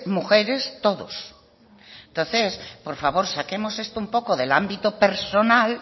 mujeres todos entonces por favor saquemos esto un poco del ámbito personal